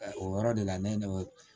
O yɔrɔ de la ne ye ne wele